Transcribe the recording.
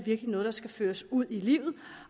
er noget der skal føres ud i livet